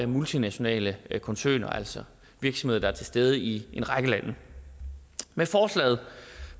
multinationale koncerner altså virksomheder til stede i en række lande med forslaget